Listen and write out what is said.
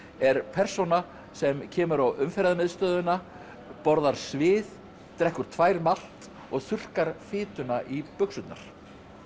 er persóna sem kemur á Umferðarmiðstöðina borðar svið drekkur tvær malt og þurrkar fituna í buxurnar